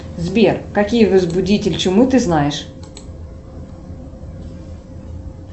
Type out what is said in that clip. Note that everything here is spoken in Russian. сбер какие возбудители чумы ты знаешь